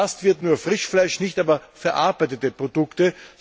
Erfasst wird nur Frischfleisch, nicht aber verarbeitete Produkte.